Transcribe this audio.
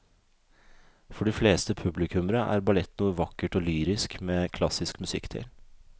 For de fleste publikummere er ballett noe vakkert og lyrisk med klassisk musikk til.